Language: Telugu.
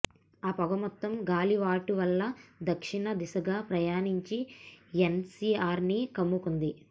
ఆ పొగ మొత్తం గాలివాటువల్ల దక్షిణ దిశగా ప్రయాణించి ఎన్సీఆర్ని కమ్ముతోంది